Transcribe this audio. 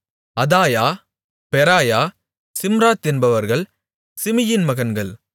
அதாயா Beraiah Shimrath என்பவர்கள் சிமியின் மகன்கள்